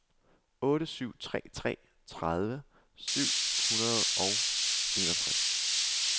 otte syv tre tre tredive syv hundrede og enogtres